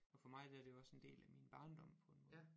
Og for mig der er det jo også en del af min barndom på en måde